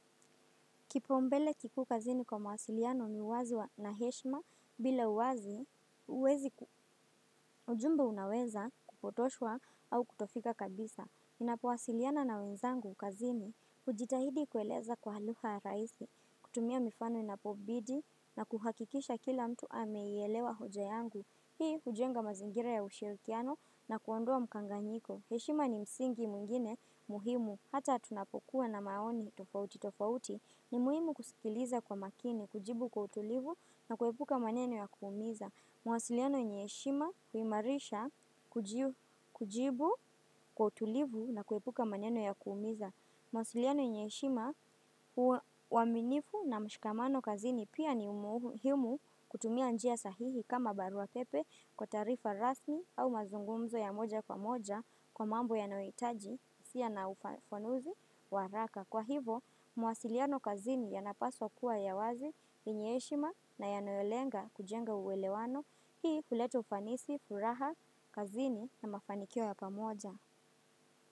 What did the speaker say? Kipaumbele kikuu kazini kwa mawasiliano ni uwazi wa na heshima bila uwazi, huwezi ujumbe unaweza kupotoshwa au kutofika kabisa. Ninapowasiliana na wenzangu kazini. Hujitahidi kueleza kwa lugha ya rahisi, kutumia mifano inapobidi na kuhakikisha kila mtu ameielewa hoja yangu. Hii hujenga mazingira ya ushirikiano na kuondoa mkanganyiko. Heshima ni msingi mwingine muhimu hata tunapokuwa na maoni tofauti tofauti. Ni muhimu kusikiliza kwa makini, kujibu kwa utulivu na kuepuka maneno ya kuumiza. Mawasiliano yenye heshima huimarisha kujibu kwa utulivu na kuepuka maneno ya kuumiza. Mawasiliano yenye heshima, uaminifu na mshikamano kazini. Pia ni muhimu kutumia njia sahihi kama barua pepe, kwa taarifa rasmi au mazungumzo ya moja kwa moja kwa mambo yanayohitaji wosia na ufafanuzi wa haraka. Kwa hivo, mawasiliano kazini yanapaswa kuwa ya wazi, yenye heshima na yanayolenga kujenga uelewano, hii huleta ufanisi, furaha kazini na mafanikio ya pamoja.